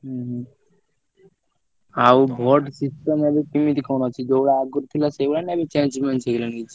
ହୁଁ ହୁଁ। ଆଉ vote system ଏବେ କେମିତି କଣ ଅଛି ଯୋଉଭଳିଆ ଆଗୁରୁ ଥିଲା ସେଇଭଳିଆ ନା ଏବେ change ମେଞ୍ଜେ ହେଇଗଲାଣି କିଛି?